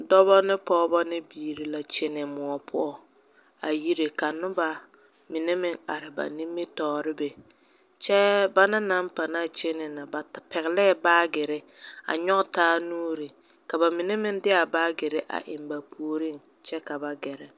Dɔbɔ ne pɔgeba ne biiri la kyɛnɛ moɔ poɔ a yire ka noba mine meŋ are ba nimitɔɔreŋ be kyɛ bana naŋ pãã kyɛnɛ ba pɛglee baagyere a nyɔge taa nuuri ka ba mine meŋ de a baagyere eŋ ba puoriŋ kyɛ ka ba gɛrɛ.